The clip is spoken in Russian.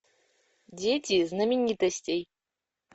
дети знаменитостей